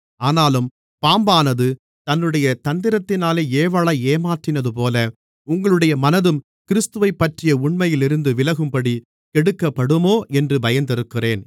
ஆனாலும் பாம்பானது தன்னுடைய தந்திரத்தினாலே ஏவாளை ஏமாற்றினதுபோல உங்களுடைய மனதும் கிறிஸ்துவைப்பற்றிய உண்மையிலிருந்து விலகும்படி கெடுக்கப்படுமோ என்று பயந்திருக்கிறேன்